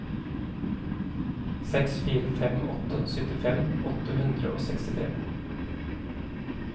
seks fire fem åtte syttifem åtte hundre og sekstitre